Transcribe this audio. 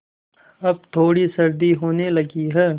अब थोड़ी सर्दी होने लगी है